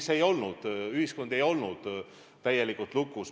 See ei olnud nii, ühiskond ei olnud täielikult lukus.